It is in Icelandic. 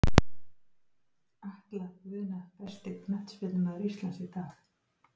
Atla Guðna Besti knattspyrnumaður Íslands í dag?